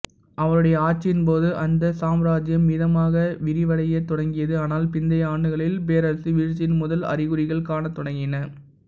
அவருடைய ஆட்சியின்போது அந்த சாம்ராஜ்ஜியம் மிதமாக விரிவடையத் தொடங்கியது ஆனால் பிந்தைய ஆண்டுகளில் பேரரசு வீழ்ச்சியின் முதல் அறிகுறிகள் காணத்தொடங்கின